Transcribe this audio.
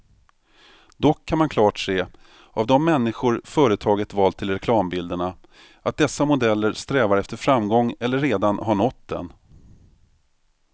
Dock kan man klart se av de människor företaget valt till reklambilderna, att dessa modeller strävar efter framgång eller redan har nått den.